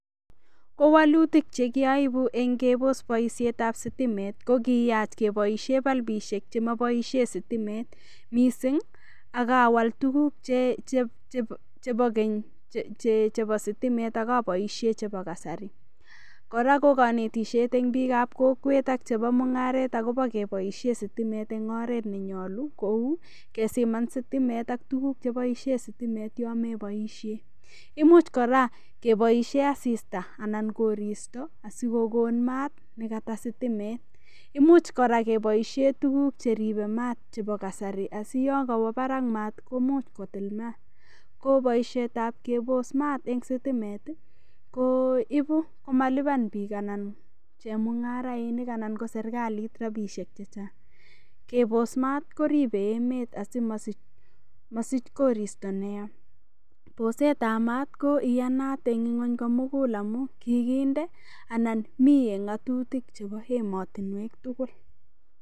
Ko wolutik chekiabu eng' keboos boishetab sitimit ko kiyach keboishe balipishek chemaboishe sitimet mising' akawal tukuk chebo keny chebo sitimet akaboishe chebo kasari kora ko kanetishet eng' biikab kokwet ak chebo mung'aret akobo keboishe sitimet eng' oret nenyolu kou kesiman sitimet ak tukuk cheboishe sitimet yomeboishe imuch kora keboishe asista anan koristo asikokon maat nekata sitimet imuuch kora keboishe tukuk cheribei maat chebo kasari asiyo kawo barak maat komuch kotil maat ko boishetab keboos maat eng' sitimet ko ibu komalipan biik anan chemung'arainik ana serikalit rapishek chechang' keboos maat koribei emet asimasich koristo neya boosetab maat ko iyanat eng' ng'weny komugul amun kikinde anan mi eng' ng'atutik chebo emotinwek tugul